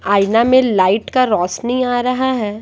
आईना में लाइट का रोशनी आ रहा है।